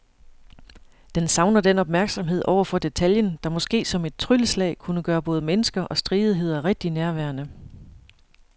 Den savner den opmærksomhed over for detaljen, der måske som et trylleslag kunne gøre både mennesker og stridigheder rigtig nærværende.